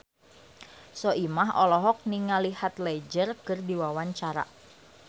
Soimah olohok ningali Heath Ledger keur diwawancara